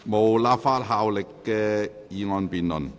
無立法效力的議案辯論。